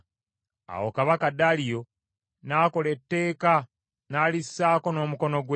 Awo kabaka Daliyo n’akola etteeka n’alissaako n’omukono gwe.